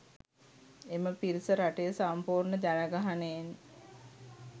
එම පිරිස රටේ සම්පූර්ණ ජනගහනයෙන්